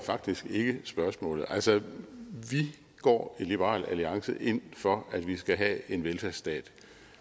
faktisk ikke spørgsmålet altså vi går i liberal alliance ind for at vi skal have en velfærdsstat